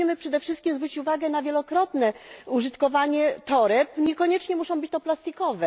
I musimy przede wszystkim zwrócić uwagę na wielokrotne użytkowanie toreb, niekoniecznie muszą być to torby plastikowe.